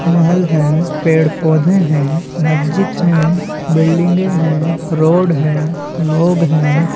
महल है पेड़-पौधे है मस्जिद है बिल्डिंग है रोड है लोग है।